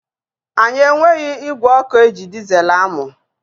Anyị enweghị ígwè ọkụ eji dizeelu amụ.